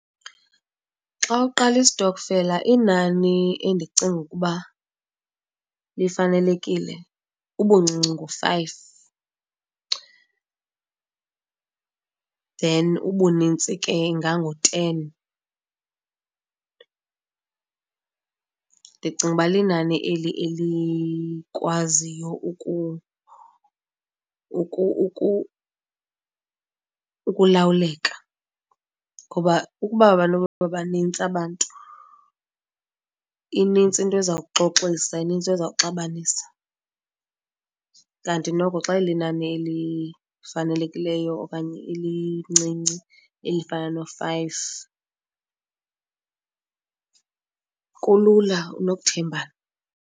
Xa uqala istokfela inani endicinga ukuba lifanelekile ubuncinci ngu-five then ubunintsi ke ingangu-ten. Ndicinga uba linani eli elikwaziyo ukulawuleka, ngoba ukuba banokuba banintsi abantu inintsi into ezawuxoxisa, inintsi into ezawuxabanisa. Kanti noko xa ilinani elifanelekileyo okanye elincinci elifana no-five, kulula nokuthembana.